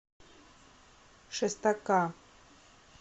шестака